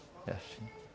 É assim.